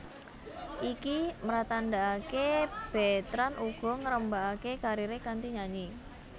Iki mratandhakaké Betrand uga ngrembakakaké kariré kanthi nyanyi